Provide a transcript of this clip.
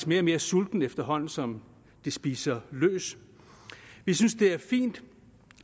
mere og mere sultent efterhånden som det spiser løs jeg synes det er fint